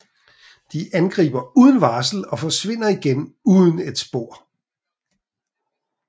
De angriber uden varsel og forsvinder igen uden et spor